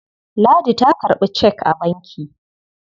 Ladi ta karɓi cek a banki.